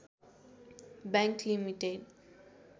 bank limited